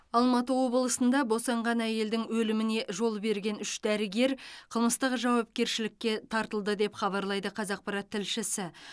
алматы облысында босанған әйелдің өліміне жол берген үш дәрігер қылмыстық жауапкершілікке тартылды деп хабарлайды қазақпарат тілшісі